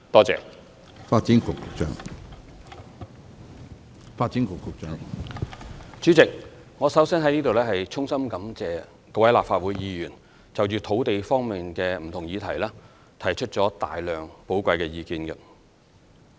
主席，我首先在這裏衷心感謝各位立法會議員就土地方面的不同議題提出了大量寶貴意見。